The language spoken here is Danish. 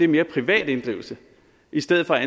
mere privat inddrivelse i stedet for at